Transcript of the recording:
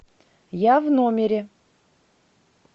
я в номере